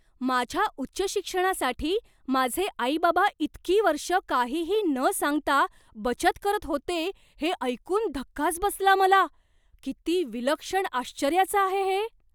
माझ्या उच्च शिक्षणासाठी माझे आई बाबा इतकी वर्ष काहीही न सांगता बचत करत होते हे ऐकून धक्काच बसला मला. किती विलक्षण आश्चर्याचं आहे हे!